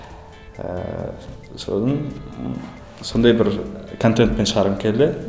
ііі содан ы сондай бір контентпен шығарғым келді